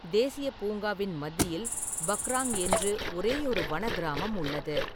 தேசியப் பூங்காவின் மத்தியில் பக்ராங் என்று ஒரேயொரு வன கிராமம் உள்ளது.